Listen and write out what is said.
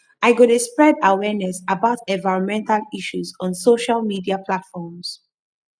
i go dey spread awareness about environmental issues on social media platforms